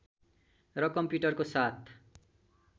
र कम्प्युटरको साथ